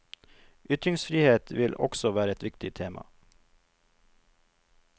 Ytringsfrihet vil også være et viktig tema.